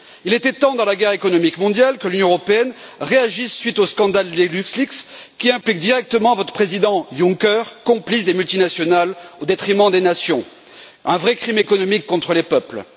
Il était temps, dans la guerre économique mondiale, que l'Union européenne réagisse à la suite du scandale des LuxLeaks, qui implique directement votre président Juncker, complice des multinationales au détriment des nations, un vrai crime économique contre les peuples.